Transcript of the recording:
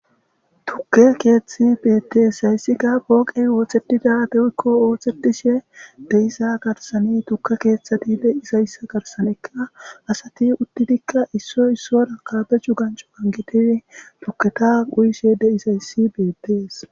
Tukke keethethi bettes. Hayssi ga pooqey wooththetida woykko ooththetishe de'iza garssani tuke keeththati de'iza issa garsdanikka asati uttidikka issoy issoraka be'ashe anjeti tuketa uyishe de'iza issi bettes.